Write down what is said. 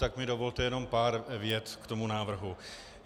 Tak mi dovolte jenom pár vět k tomu návrhu.